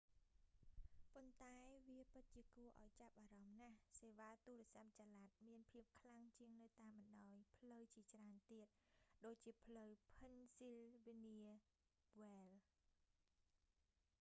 ប៉ុន្តែ វាពិតជាគួរឱ្យចាប់អារម្មណ៍ណាស់សេវាទូរស័ព្ទចល័តមានភាពខ្លាំងជាងនៅតាមបណ្តោយ ផ្លូវជាច្រើនទៀត ដូចជាផ្លូវ ភិនស៊ីលវានៀ វ៉ែលឌ៍ pennsylvania wilds